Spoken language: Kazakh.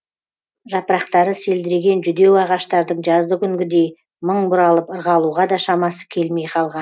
жапырақтары селдіреген жүдеу ағаштардың жаздыкүнгідей мың бұралып ырғалуға да шамасы келмей